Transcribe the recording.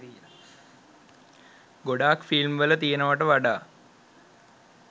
ගොඩක් ෆිල්ම් වල තියෙනවට වඩා